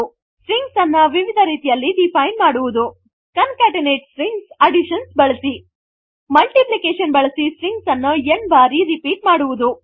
strings ಅನ್ನು ವಿವಿಧ ರೀತಿಯಲ್ಲಿ ಡಿಫೈನ್ ಮಾಡುವುದು ಕಾಂಕೆಟೆನೇಟ್ ಸ್ಟ್ರಿಂಗ್ಸ್ ಅಡಿಷನ್ ಬಳಸಿ ಮಲ್ಟಿಪ್ಲಿಕೇಶನ್ ಬಳಸಿ ಸ್ಟ್ರಿಂಗ್ ಅನ್ನು n ಬಾರಿ ರಿಪೀಟ್ ಮಾಡುವುದು